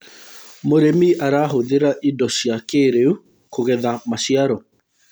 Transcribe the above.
mũrĩmi arahuthira indo cia kĩiriu kugetha maciaro